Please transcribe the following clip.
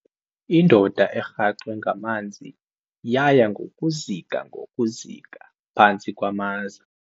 Indoda erhaxwe ngamanzi yaya ngokuzika ngokuzika phantsi kwamaza.